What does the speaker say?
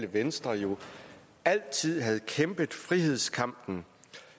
venstre jo altid har kæmpet frihedskampen